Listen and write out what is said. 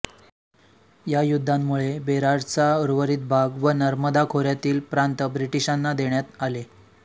या युद्धांमुळे बेरारचा उर्वरित भाग व नर्मदा खोऱ्यातील प्रांत ब्रिटीशांना देण्यात आले